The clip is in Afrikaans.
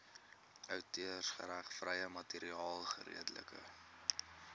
outeursregvrye materiaal geredelik